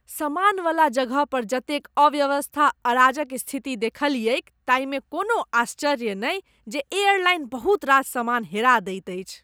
सामानवला जगह पर जतेक अव्यवस्था, अराजक स्थिति देखलियैक ताहिमे कोनो आश्चर्य नहि जे एयरलाइन बहुत रास सामान हेरा दैत अछि।